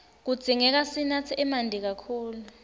kudzingeka sinatse emanti kakhulu